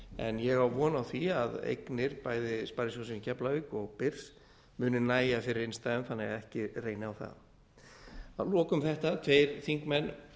en ég á von á því að eignir bæði sparisjóðsins í keflavík og byrs muni nægja fyrir innstæðum þannig að ekki reyni á það að lokum þetta tveir þingmenn